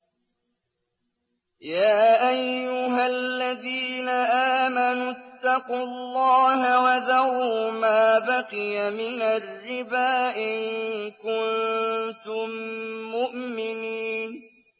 يَا أَيُّهَا الَّذِينَ آمَنُوا اتَّقُوا اللَّهَ وَذَرُوا مَا بَقِيَ مِنَ الرِّبَا إِن كُنتُم مُّؤْمِنِينَ